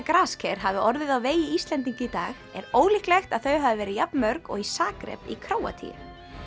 grasker hafi orðið á vegi Íslendinga í dag er ólíklegt að þau hafi verið jafn mörg og í Zagreb í Króatíu